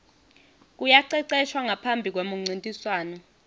kuyaceceshwa ngaphambi kwemuncintiswano